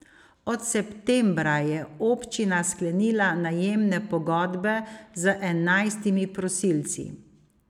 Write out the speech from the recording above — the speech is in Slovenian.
Od septembra je občina sklenila najemne pogodbe z enajstimi prosilci.